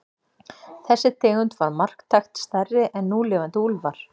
Þessi tegund var marktækt stærri en núlifandi úlfar.